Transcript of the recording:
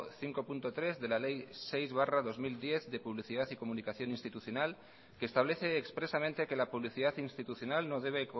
cinco punto tres de la ley seis barra dos mil diez de publicidad y comunicación institucional que establece expresamente que la publicidad institucional no debe